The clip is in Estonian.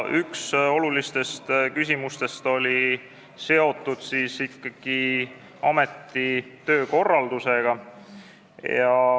Üks olulistest küsimustest oli seotud ameti töökorraldusega.